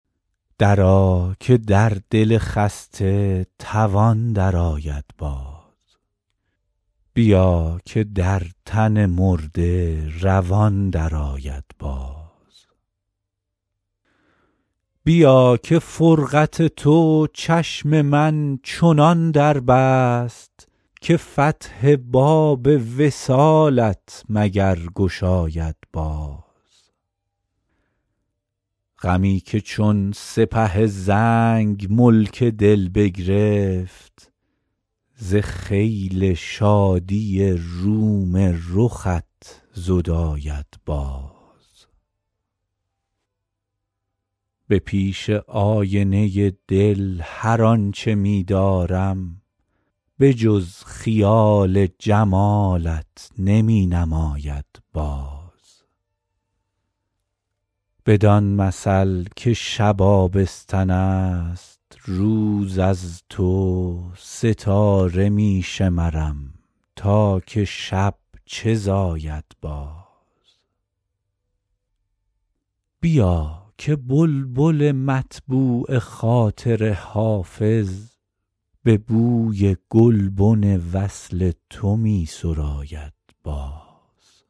درآ که در دل خسته توان درآید باز بیا که در تن مرده روان درآید باز بیا که فرقت تو چشم من چنان در بست که فتح باب وصالت مگر گشاید باز غمی که چون سپه زنگ ملک دل بگرفت ز خیل شادی روم رخت زداید باز به پیش آینه دل هر آن چه می دارم به جز خیال جمالت نمی نماید باز بدان مثل که شب آبستن است روز از تو ستاره می شمرم تا که شب چه زاید باز بیا که بلبل مطبوع خاطر حافظ به بوی گلبن وصل تو می سراید باز